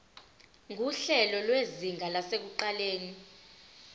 nguhlelo lwezinga lasekuqaleni